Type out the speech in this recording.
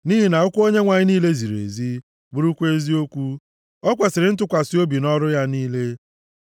Nʼihi na okwu Onyenwe anyị niile ziri ezi bụrụkwa eziokwu; o kwesiri ntụkwasị obi nʼọrụ ya niile.